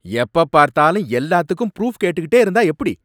எப்பப் பார்த்தாலும் எல்லாத்துக்கும் ப்ரூஃப் கேட்டுட்டே இருந்தா எப்படி?